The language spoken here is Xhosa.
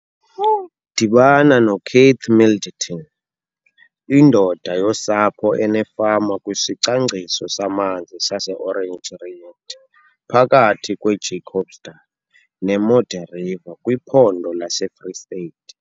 Dibana noKeith Middleton, indoda yosapho enefama kwisicwangciso samanzi sase-Oranje Riet phakathi kweJacobsdal neModderriver kwiPhondo laseFree State.